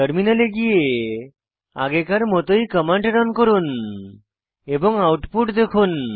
টার্মিনালে গিয়ে আগেকার মতই কমান্ড রান করুন এবং আউটপুট দেখুন